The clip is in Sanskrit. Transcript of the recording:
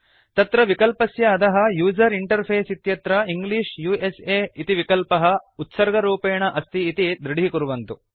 तत्र विकल्पस्य अधः यूजर इंटरफेस इत्यत्र इंग्लिश उस इति विकल्पः उत्सर्गरूपेण अस्ति इति दृढीकुर्वन्तु